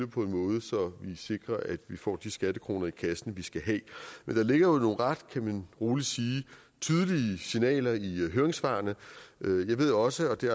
på en måde så man sikrer at får de skattekroner i kassen skal have men der ligger jo nogle ret kan man roligt sige tydelige signaler i høringssvarene jeg ved også og det